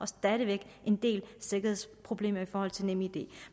stadig væk en del sikkerhedsproblemer i forhold til nemid